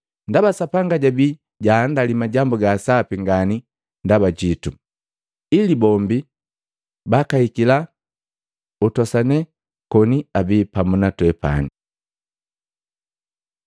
ndaba Sapanga jabii jaandali majambu ga sapi ngani ndaba jitu, ili bombi bakahikila utosanela koni abii pamu na twepani.